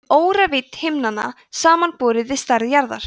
um óravídd himnanna samanborið við stærð jarðar